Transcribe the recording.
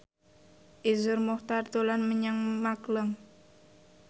Iszur Muchtar dolan menyang Magelang